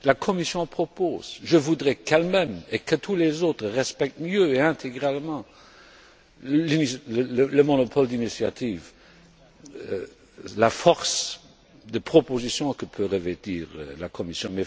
La Commission propose. Je voudrais qu'elle même et que tous les autres respectent mieux et intégralement le monopole de l'initiative et la force de proposition que peut revêtir la Commission.